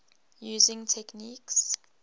using techniques